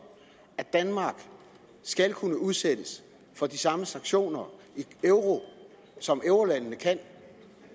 at danmark skal kunne udsættes for de samme sanktioner som eurolandene kan